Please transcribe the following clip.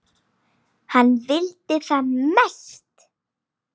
Hann vildi það mest.